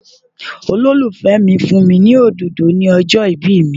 Olólùfẹ́ mi fún mi ní òdòdó ni ọjọ́ ìbí mi.